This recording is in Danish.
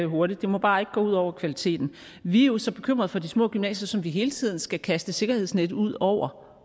hurtigt det må bare ikke gå ud over kvaliteten vi er jo så bekymret for de små gymnasier som vi hele tiden skal kaste et sikkerhedsnet ud over